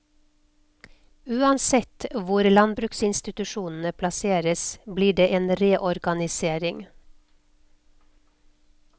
Uansett hvor landbruksinstitusjonene plasseres blir det en reorganisering.